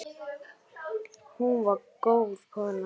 Hún var góð kona.